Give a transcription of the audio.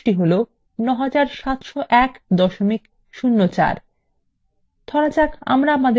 দেখুন সমষ্টি হল ৯৭০১ ০৪